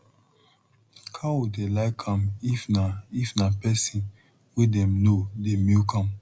cow dey like am if na if na pesin wey dem know dey milk am